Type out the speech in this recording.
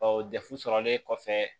dɛfu sɔrɔlen kɔfɛ